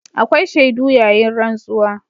Akwai shaidu yayin rantsuwa.